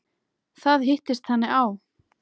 Þetta hittist þannig á.